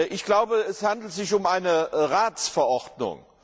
Ich glaube, es handelt sich um eine Ratsverordnung.